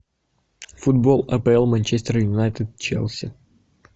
футбол апл манчестер юнайтед челси